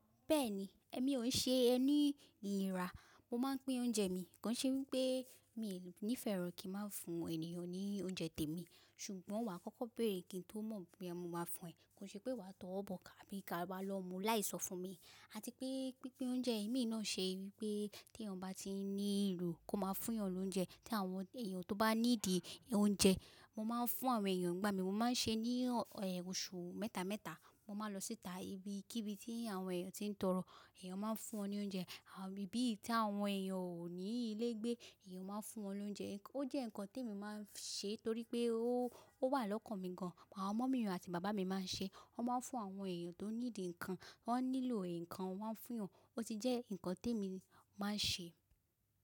Bẹ́ẹ̀ni, èmi ò ṣe ẹ́ ní ìríra, mo máa ń pín oúnjẹ mi. Kàn ṣe wípé mi ò ní ìfẹ́ lọ kí má fún ènìyàn ní oúnjẹ tèmi. Ṣùgbọ́n wà á kọ́kọ́ bèrè kí n tó mọ̀ boya mọ ma fún ẹ. Kàn ṣe pé wà á tọ́ ọ́ bọ̀ ká bí ka bá lọ mú láì sọ fún mi. Àti pé pínpín oúnjẹ ẹ̀mí náà ṣe wípé tí ẹnì bá tí ń ní ìlò kó máa fún wọn lóúnjẹ. Tí àwọn èèyàn tó bá ní dì oúnjẹ, mo máa ń fún àwọn èèyàn ìgbà mi. Mo máa ń ṣe ní oṣù mẹ́ta mẹ́ta. Mo máa lọ síta ibi kí ibi tí àwọn èèyàn tí ń tọrọ, èèyàn máa ń fún wọn ní oúnjẹ. Íbí tí àwọn èèyàn ò ní ilé gbé, èèyàn máa ń fún wọn lóúnjẹ. Ó jẹ́ nǹkan tí èmi máa ń ṣe torí pé ó wà lọ́kàn mi gan. Àwọn ọmọ mi àti bàbá mi máa ń ṣe, wọ́n máa ń fún àwọn èèyàn tó ní dì nǹkan, wọ́n nílò nǹkan wọ́n máa fún wọn. Ó ti jẹ́ nǹkan tí èmi máa ń ṣe.